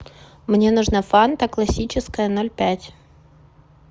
мне нужна фанта классическая ноль пять